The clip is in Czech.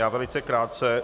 Já velice krátce.